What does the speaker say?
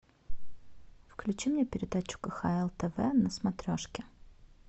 включи мне передачу кхл тв на смотрешке